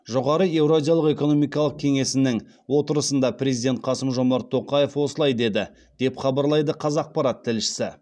жоғары еуразиялық экономикалық кеңесінің отырысында президент қасым жомарт тоқаев осылай деді деп хабарлайды қазақпарат тілшісі